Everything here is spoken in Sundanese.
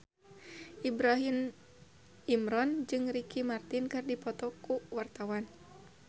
Ibrahim Imran jeung Ricky Martin keur dipoto ku wartawan